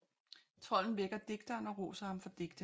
Trolden vækker digteren og roser ham for digtene